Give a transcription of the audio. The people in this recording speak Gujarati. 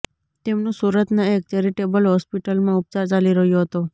તેમનુ સૂરતના એક ચેરિટેબલ હોસ્પિટલમાં ઉપચાર ચાલી રહ્યો હતો